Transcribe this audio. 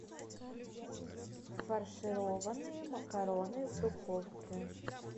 фаршированные макароны в духовке